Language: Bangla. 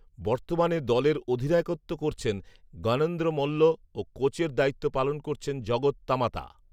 বর্তমানে দলের অধিনায়কত্ব করছেন জ্ঞনেন্দ্র মল্ল ও কোচের দায়িত্ব পালন করছেন জগত তামাতা